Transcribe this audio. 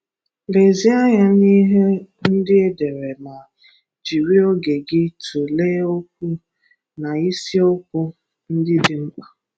Lezie anya na ihe ndị e dere ma jiri oge gị tụlee okwu na isi okwu ndị dị mkpa.